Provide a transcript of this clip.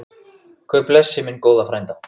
Guð blessi minn góða frænda.